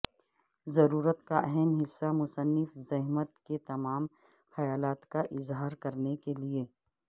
ضرورت کا اہم حصہ مصنف زحمت کہ تمام خیالات کا اظہار کرنے کے لئے